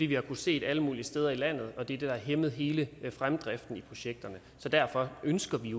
vi har kunnet se alle mulige steder i landet og det er det der har hæmmet hele fremdriften i projekterne så derfor ønsker vi